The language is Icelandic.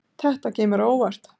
Þetta kemur á óvart